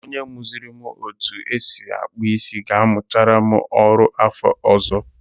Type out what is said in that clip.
Onye muziri m otu esi akpụ isi ga-amuchara m ọrụ afọ ọzọ.